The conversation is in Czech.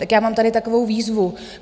Tak já mám tady takovou výzvu.